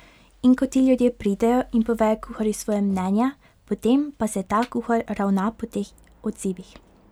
In ko ti ljudje pridejo in povejo kuharju svoje mnenje, potem pa se ta kuhar ravna po teh odzivih.